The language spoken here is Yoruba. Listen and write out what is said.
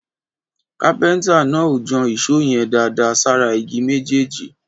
Kápéntà nà ò jàn ìsó yẹn dàdà sàrá ìgí mẹjẹji.